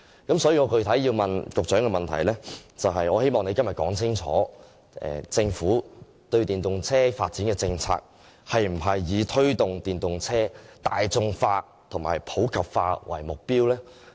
因此，我具體要問局長的補充質詢，就是希望局長今天說明政府對電動車發展的政策，是否以推動電動車大眾化和普及化為目標？